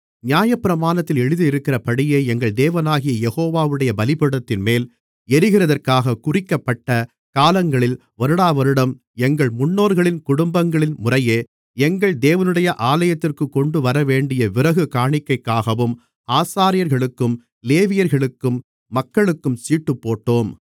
நியாயப்பிரமாணத்தில் எழுதியிருக்கிறபடியே எங்கள் தேவனாகிய யெகோவாவுடைய பலிபீடத்தின்மேல் எரிகிறதற்காக குறிக்கப்பட்ட காலங்களில் வருடாவருடம் எங்கள் முன்னோர்களின் குடும்பங்களின்முறையே எங்கள் தேவனுடைய ஆலயத்திற்குக் கொண்டுவரவேண்டிய விறகு காணிக்கைக்காகவும் ஆசாரியர்களுக்கும் லேவியர்களுக்கும் மக்களுக்கும் சீட்டுப்போட்டோம்